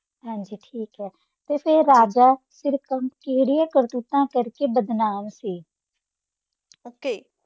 ਹਾਂਜੀ ਠੀਕ ਹੈ ਤੇ ਫਿਰ ਰਾਜਾ ਕਿਹੜੀਆਂ ਕਰਤੂਤਾਂ ਕਰਕੇ ਬਦਨਾਮ ਸੀ?